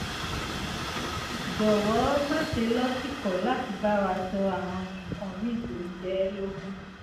jọ̀wọ́ má ṣe lọ́tìkọ̀ láti bá wa sọ àwọn nǹkan míì tó ń jẹ ẹ́ lógún